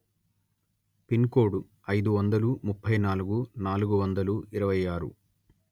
pin code అయిదు వందలు ముప్పై నాలుగు నాలుగు వందలు ఇరవై ఆరు